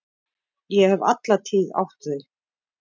Ég hef alla tíð átt þau.